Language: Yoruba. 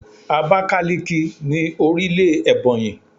Abákáliki ni orílè Èbònyì